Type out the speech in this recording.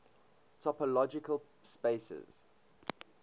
topological spaces